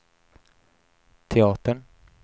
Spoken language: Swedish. teatern